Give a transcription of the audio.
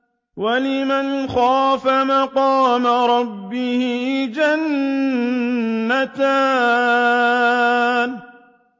وَلِمَنْ خَافَ مَقَامَ رَبِّهِ جَنَّتَانِ